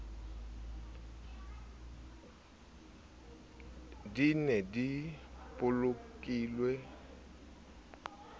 di ne di bolokilwe ho